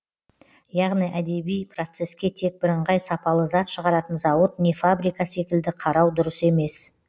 яғни әдеби процеске тек бірыңғай сапалы зат шығаратын зауыт не фабрика секілді қарау дұрыс емес